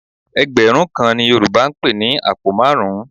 Ẹgbẹ̀rún kan ni Yorùbá ń pè ní àpò márùn-ún